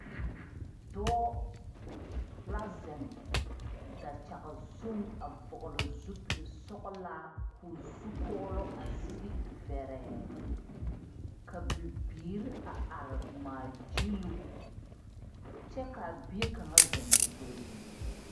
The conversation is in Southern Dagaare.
Dɔɔ la zeŋ dakyag zuŋ a vɔgele zupilsɔgelaa k'o zukɔɔloŋ a sigi vɛrɛɛ... Ka Bibiir a ar ŋmaa gyiluu kyɛ k'a bie kaŋa zeŋ o gbɛɛ zu.